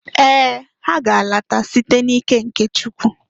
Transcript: Ee! Ha ga-alata site n'ike nke Chukwu.